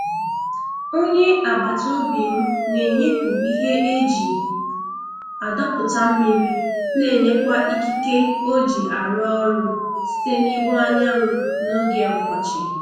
Onye agbata obi m na-enyepụ ihe e ji adọpụta mmiri na-enweta ikike oji arụ ọrụ site n'ihu anyanwụ n'oge ọkọchị.